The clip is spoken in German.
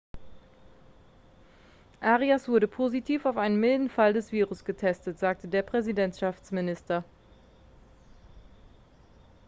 arias wurde positiv auf einen milden fall des virus getestet sagte der präsidentschaftsminister